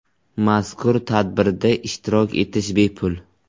Mazkur tadbirda ishtirok etish bepul.